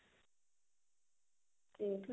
okay